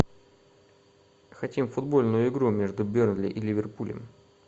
хотим футбольную игру между бернли и ливерпулем